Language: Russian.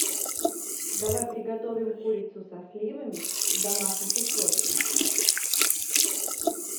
давай приготовим курицу со сливами в домашних условиях